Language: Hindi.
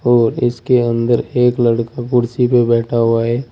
और इसके अंदर एक लड़का कुर्सी पे बैठा हुआ है।